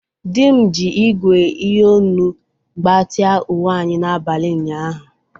Di m ji ígwè iyonu gbatia uwe anyi n’abalị ụnyaahụ.